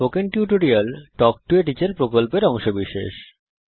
spoken tutorial talk to a teacher প্রকল্পের অংশবিশেষ